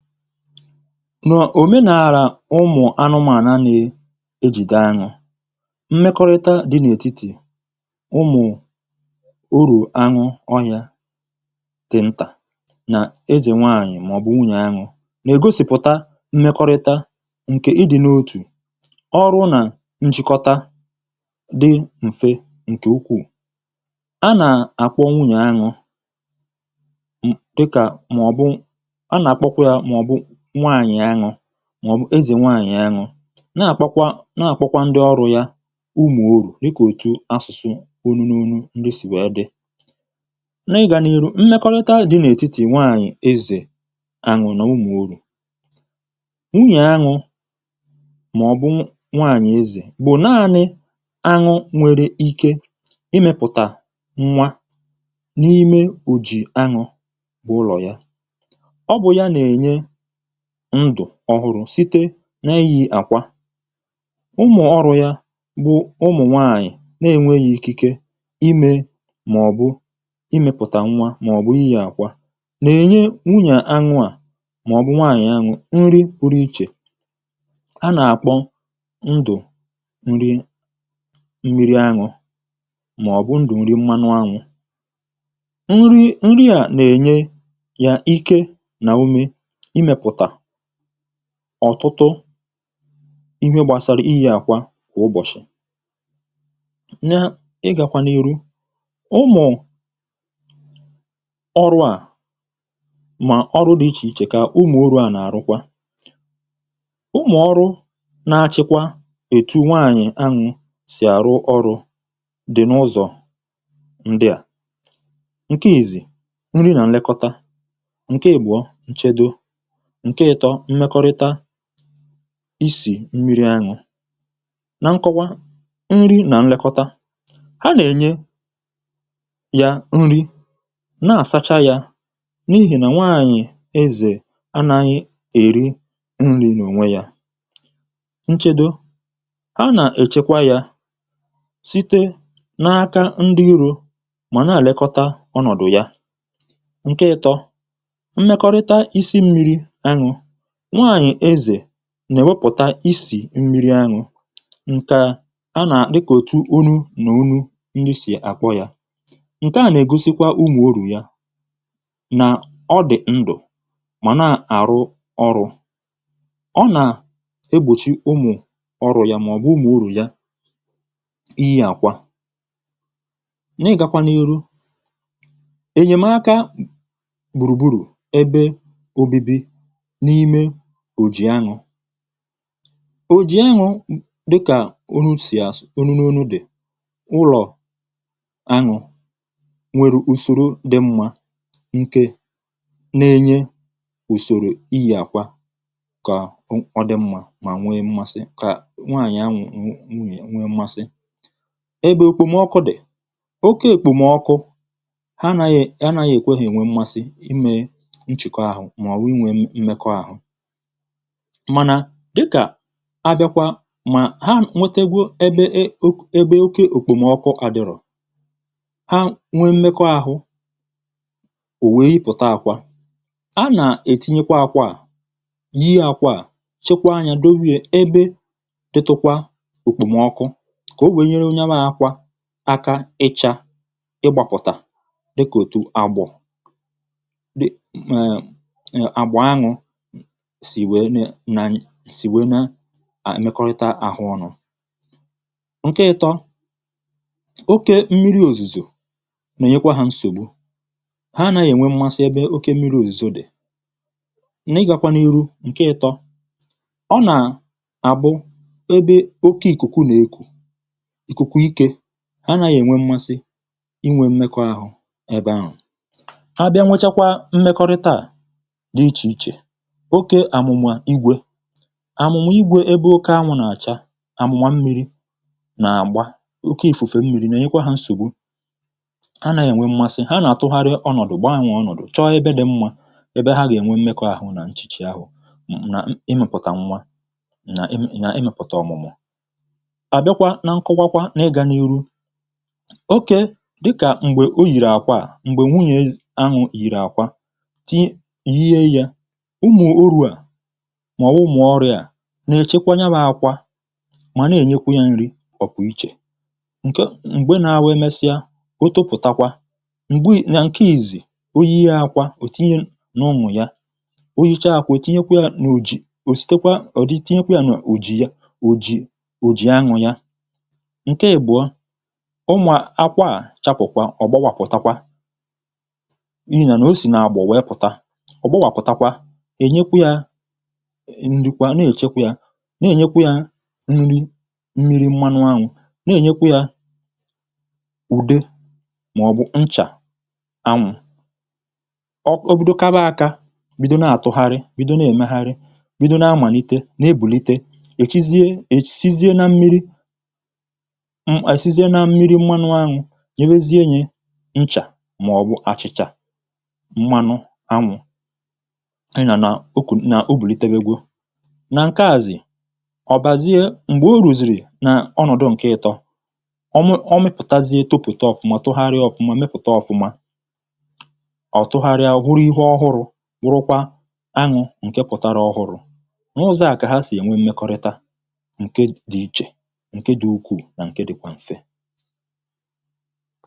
Nà òmenàlà ụmụ̀ anụmànà neė ejìdee aṅụ̇, mmekọrịta dị n’ètitì ụmụ̀ urù àṅụ ọhiȧ dị̀ ntà nà ezè nwaànyị̀ màọ̀bụ̀ nwùnyè aṅụ̇ nà ègosìpụ̀ta mmekọrịta ǹkè ị dị̇ n’otù, ọrụ nà njikọta dị ṁfe ǹkè ukwù. A nà-àkpọ nwùnyè aṅụ dika màọ̀bụ̀ a na àkpọkwa ya maọbụ nwaànyị̇ aṅụ maobu eze nwaànyị̇ aṅụ. Na-àkpọkwa na-àkpọkwa ndị ọrụ̇ ya umù orù dikȧ òtu asụ̀sụ onu n’onu asusu ndị sì wee dị. Na ị gà n’iru mmekọrịta dị n’ètitì nwaànyị̀ ezè àṅụ n’umù orù. Nwunyè àṅụ màọ̀bụ nwaànyị̀ ezè bụ̀ naȧnị̇ aṅụ nwere ike imėpụ̀tà nwa n’ime òjì aṅụ̇ bụ̀ ụlọ̀ ya. Ọ bu ya na-enye ndụ̀ ọhụrụ̇ site n’iyi àkwa. Ụmụ̀ ọrụ̇ ya bụ̀ ụmụ̀ nwaànyị̀ n’enweghì ikike imė màọ̀bụ̀ imėpụ̀tà nwa màọ̀bụ̀ iyi̇ àkwa nà-ènye nwunyè aṅụ̇ à màọ̀bụ̀ nwaànyị̀ aṅụ̀ nri pụrụ ichè a nà-àkpọ ndụ̀ nri mmiri aṅụ̇ màọ̀bụ̀ ndụ̀ nri mmanụ aṅụ̇. Nri a nà-ènye yà ike nà ume imeputa ọ̀tụtụ ihė gbàsara iyi̇ àkwa kwà ụbọ̀chị̀. Nya ị gàkwà n’iru, ụmụ̀ ọrụ̇ a mà ọrụ dị̇ ichè ichè kà ụmụ̀ orụ̇ a nà-àrụkwa. Ụmụ̀ ọrụ na-achịkwa ètu nwaànyị̀ anwụ̇ sì àrụ ọrụ̇ dị̀ n’ụzọ̀ ndịà. Ǹkè ìzìzi nri nà nlekọta, nkè ịbụọ, nchedo, nkè ịtọ̇ mmekọrịta isì mmiri aṅụ̇. na nkọwa nri̇ nà nlekọta, ha nà-ènye ya nri na-àsacha ya n’ihì nà nwaànyị̀ ezè anȧghị̀ èri nri̇ n’ònwe ya. Nchedo. A nà-èchekwa ya site n’aka ndị irȯ mà na elekọta ọnọ̀dụ ya. Ǹkè ịtọ̇, mmekorita isi mmiri aṅụ̇. nwaànyị̀ ezè nà-èwepụ̀ta isì m̀miri aṅụ̇ ǹkeà a nà dịkà òtù onu̇ nà onu̇ ndi sì àkpọ yȧ. Ǹkèa nà-ègosikwa ụmụ orù yà nà ọ dị̀ ndụ̀ mà nà-àrụ ọrụ̇. Ọ nà-egbòchi ụmụ ọrù yà màọ̀bụ̀ umù orù yà i yi akwà. n’ịgakwa n’iru, ènyèmaka gbùrùgbùrù n'ime òjì aṅụ̇. Òjì aṅụ̇ dịkà onu si onụ n’onu dị̀ ụlọ̀ aṅụ̇ nwere ùsòro dị mmȧ ǹke na-enye ùsòrò iyi̇ àkwa kà ọ dị mmȧ mà nwee mmȧsị kà nwaànyị̀ aṅụ̇ nwunyè nwee mmȧsị ebe ekpomọkụ dị̀ oke ekpomọkụ anaghi ekwe ha enwe mmasi inwe nchiko ahụ maọbụ inwe mmekọ ahụ. mànà dịkà abịakwa ma ha nwetegwu ebe e ebe oke òkpòmọkụ adịrọ ha nwee mmekọ ahụ òwè ị pụ̀ta akwȧ a nà-ètinyekwa akwȧ à, yie akwȧ à, chekwaȧ anya dowe ya ebe dịtụkwa òkpòmọkụ kà o wèe nyere nyabụ akwȧ aka ịcha ịgbàpụ̀tà dịkà òtù àgbọ dị uhm uhm àgbọ añụ sì nwèe uhm uhm na-emekorita ahụ ọnụ̇. Ǹkè ịtọ̇, oke mmiri̇ òzùzò mà nyekwa hȧ nsògbu ha nàghị̀ ènwe mmasị ebe oke mmiri̇ òzùzo dị̀. n’ịgȧkwanụ iru ǹkè ịtọ̇, ọ nà àbụ ebe oke ìkùkù nà-eku̇, ìkùkù ikė ha nàghị̀ ènwe mmasị inwė mmekọ̇ ahụ ebe ahụ̀. Ha bịa nwechakwa mmekọrịta à di icheiche oke àmụ̀ṅụ igwė àmụ̀ṅụ igwė ebe oke ànwụ̇ nà-àcha àmụ̀ma mmiri̇ nà-àgba oke ìfùfè mmiri̇ nà enyekwa hȧ nsògbu, ha nàghi ènwe mmȧsị̇ ha nà-àtụgharị ọnọ̀dụ̀ gbanwee ọnọ̀dụ̀ chọọ ebe dị̇ mmȧ, ebe ha gà-ènwe mmekọ̇ àhụ nà nchìchì ahụ̀ nà m ị mẹ̀pụ̀tà nwa nà m ị nyà ị mẹ̀pụ̀tà ọ̀mụ̀mụ̀. Àbịakwa nà nkowakwa nà ịgȧ n’iru, okee dịkà m̀gbè o yìrì àkwa à m̀gbè nwunyė aṅụ̇ yìrì àkwa, yie yȧ, ụmụ̀ ọrụ a mụ̀ọ umu oru à nà-èchekwa ya bụ̇ akwa mà na-ènyekwa ya nri ọkwà ichè ǹke m̀gbe nà-awụ emesịa otopụ̀takwa m̀gbè nà ǹke ìzìzi, o yie akwa òtinye nà ụmụ̀ ya oyicha akwụ̀ òtinyekwa ya n’òjì òsitekwa ọ̀dịtinyekwa ya n’òjì ya òjì òjì aṅụ̇ ya. Ǹke ibụ̀ọ, ụmụ̀à akwa à chapụ̀takwà ọ̀gbọwà pụ̀takwa ihi nà nà o sì nà-àgbọ wee pụ̀ta, ọ̀gbọwà pụ̀takwa, enyekwa ya nri kwa nà-èchekwa yȧ, nà-ènyekwa yȧ nri mmiri̇ mmȧnụ aṅụ̇, nà-ènyekwa yȧ ụ̀di màọ̀bụ̀ nchà aṅụ̇. O bido kaba akȧ, bido na-àtụ̀gharị, bido na-èmegharị, bido na-amanite, na-èbùlite, èchizie èsizie nà mmiri̇ m̀manụ anụ̇ nyè wezienye nchà màọ̀bụ̀ achị̀chà m̀manụ anụ̇ na na nà nke obunitewago. Na nkea zị̀, ọ̀bàzie m̀gbè o rùzìrì nà ọnọ̀dụ ǹke ịtọ̇. Ọ̀mụ ọ mịpụ̀tazie tupùta ọ̀fụma tụgharịa ọ̀fụma mịpụ̀ta ọ̀fụma, ọ̀tụgharịa wuru ihe ọhụrụ̇ wụrụkwa aṅụ̇ ǹke pụtara ọhụrụ̇. Ǹ’ụzọ̇ à kà ha sì ènwe m̀mekọrịta ǹke dị ichè ǹke dị ukwù nà ǹke dịkwa m̀fe.